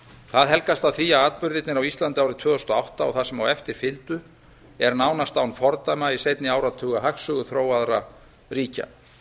það helgast af því að atburðirnir á íslandi árið tvö þúsund og átta og það sem á eftir fylgdi eru nánast án fordæma í seinni áratuga hagsögu þróaðra ríkja